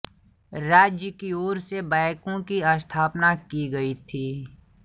राज्य की ओर से बैंको की स्थापना की गई थी